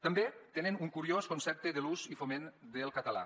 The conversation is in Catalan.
també tenen un curiós concepte de l’ús i foment del català